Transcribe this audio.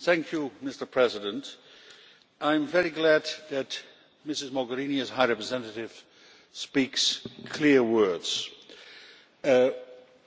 Mr President, I am very glad that Mrs Mogherini as High Representative speaks clear words. A